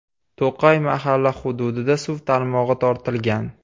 To‘qay mahalla hududida suv tarmog‘i tortilgan.